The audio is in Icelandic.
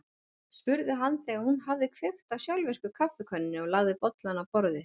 spurði hann þegar hún hafði kveikt á sjálfvirku kaffikönnunni og lagt bolla á borðið.